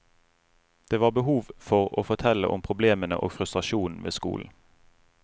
Det var behov for å fortelle om problemene og frustrasjonen ved skolen.